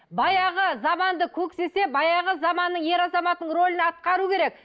баяғы заманды көксесе баяғы заманның ер азаматының рөлін атқару керек